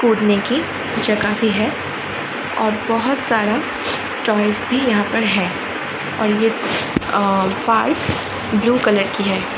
कूदने की जगह भी है और बहोत सारा टॉयज भी यहाँ पे है और ये पाइप ब्लू कलर की है।